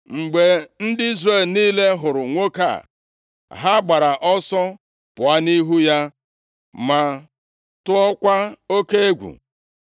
Mgbe ndị Izrel niile hụrụ nwoke a, ha gbara ọsọ pụọ nʼihu ya ma tụọkwa oke egwu.